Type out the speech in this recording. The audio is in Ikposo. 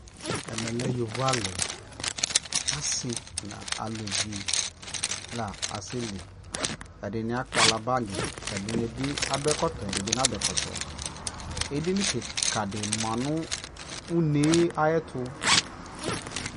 Ɛmɛ lɛ yovo alι Asi nʋ alʋvi na asɛli Ɛdι nι akpala bagi, ɛdι nι bι adʋ ɛkɔtɔ ɛdι nι nadʋ ɛkɔtɔ Edini kika dι ma nʋ une yɛ ayʋɛtu